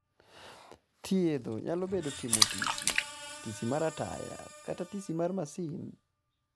Thiedho nyalo bedo timo tisi ,tisi mara taya kata tisi mar masin